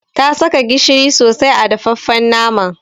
Ta saka gishiri sosai a dafaffen naman.